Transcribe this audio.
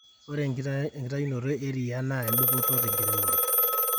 ore enkitayunoto eriaa naa enedupoto tenkiremore